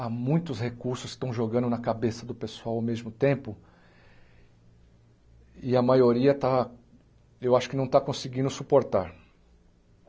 Há muitos recursos que estão jogando na cabeça do pessoal ao mesmo tempo e a maioria está eu acho que não está conseguindo suportar.